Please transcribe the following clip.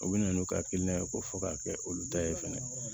U bɛ na n'u ka hakilina ye ko fo k'a kɛ olu ta ye fɛnɛ